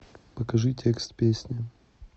покажи текст песни